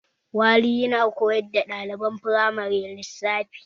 Wale yana koyar da ɗaliban firamare lissafi